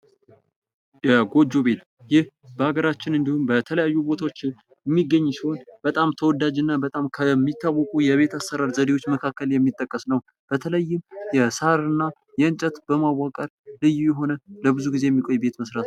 የጎጆ ቤት ይህ በሀገራችን እንዲሁም በተለያዩ ቦታዎች የሚገኝ ሲሆን በጣም ተወዳጅና በጣም የቤት አሰራር ዘዴዎች መካከል የሚጠቀስ ነው። በተለይም የሳር እና ምንጨት በማዋቀር ልዩ የሆነ ለብዙ ጊዜ የሚቆይ ቤት መስራት ነው።